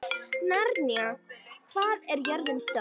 Naranja, hvað er jörðin stór?